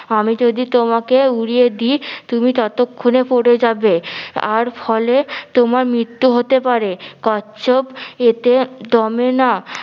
আমি যদি তোমাকে উড়িয়ে দি তুমি ততক্ষনে পরে যাবে আর ফলে তোমার মৃত্যু হতে পারে, কচ্ছপ এতে দমে না